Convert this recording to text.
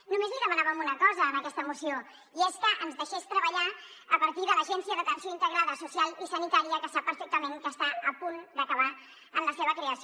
només li demanàvem una cosa en aquesta moció i és que ens deixés treballar a partir de l’agència d’atenció integrada social i sanitària que sap perfectament que està a punt d’acabar en la seva creació